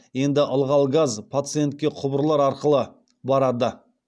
енді ылғал газ пациентке құбырлар арқылы барады